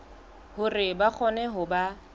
hore ba kgone ho ba